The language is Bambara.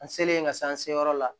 An selen ka se an seyɔrɔ la